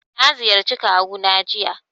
Na ziyarci kawu na jiya